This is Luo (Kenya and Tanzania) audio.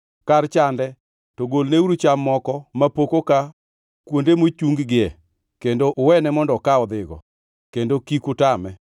Kar chande to golneuru cham moko mapok oka kuonde mochung-gie kendo uwene mondo oka odhigo, kendo kik utame.”